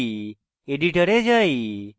editor যাই